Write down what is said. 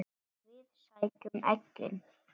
Við sækjum eggin.